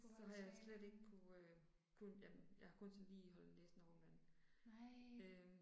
Så har jeg slet ikke kunne øh kunne jamen jeg har kun sådan lige holdt næsen over vandet, øh